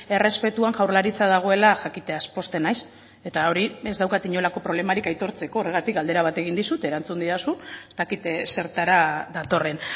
errespetuan jaurlaritza dagoela jakiteaz pozten naiz eta hori ez daukat inolako problemarik aitortzeko horregatik galdera bat egin dizut erantzun didazu ez dakit zertara datorren